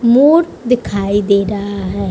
मोर दिखाई दे रहा है।